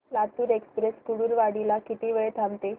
Latur express Kurduwadi ला किती वेळ थांबते